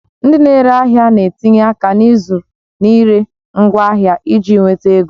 Ndị na-ere ahịa na-etinye aka n'ịzụ na ire ngwaahịa iji nweta ego